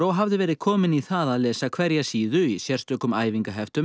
hafði verið kominn í það að lesa hverja síðu í sérstökum